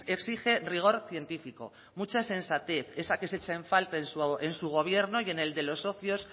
exige rigor científico mucha sensatez esa que se echa en falta en su gobierno y en el de los socios